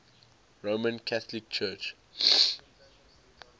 roman catholic church